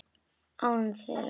Án þeirra.